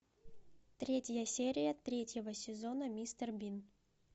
третья серия третьего сезона мистер бин